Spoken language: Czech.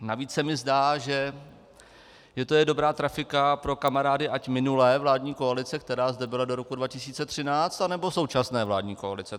Navíc se mi zdá, že je to dobrá trafika pro kamarády, ať minulé vládní koalice, která zde byla do roku 2013, anebo současné vládní koalice.